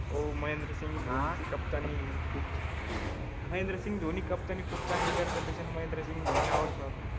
हो महेंद्रसिंग ची कप्तानी खूप महेंद्रसिंग धोनी captan नी खूप चांगली करते त्याच्यान महेंद्रसिंग धोनी आवडतात.